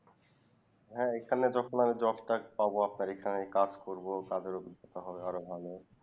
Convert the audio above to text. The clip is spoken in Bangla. হ্যাঁ এখানে যখন আমি job কার্ড পাবো আপনার এখানে কাজ করবো তাদের অভিজ্ঞতা হবে আর ভালো